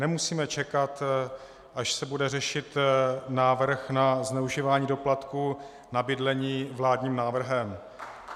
Nemusíme čekat, až se bude řešit návrh na zneužívání doplatku na bydlení vládním návrhem.